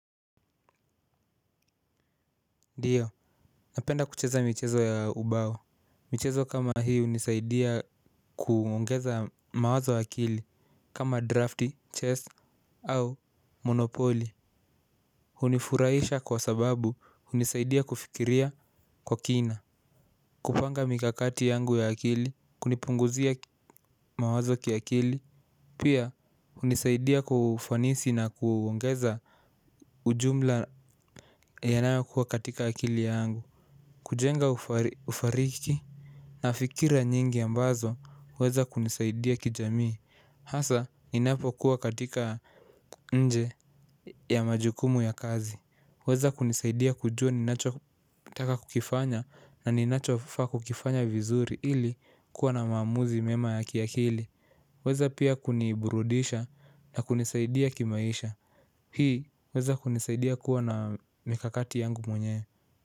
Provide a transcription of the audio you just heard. Ndio, napenda kucheza michezo ya ubao. Michezo kama hii hunisaidia kuongeza mawazo akili kama drafti, chess au monopoly. Hunifurahisha kwa sababu hunisaidia kufikiria kwa kina. Kupanga mikakati yangu ya akili, kunipunguzia mawazo kiakili. Pia hunisaidia kufanisi na kuongeza ujumla yanayokuwa katika akili yangu. Kujenga ufariki na fikira nyingi ambazo waweza kunisaidia kijamii. Hasa ninapokuwa katika nje ya majukumu ya kazi waweza kunisaidia kujua ninachotaka kukifanya na ninachofaa kukifanya vizuri ili kuwa na maamuzi mema ya kiakili. Waweza pia kuniburudisha na kunisaidia kimaisha. Hii huweza kunisaidia kuwa na mikakati yangu mwenyewe.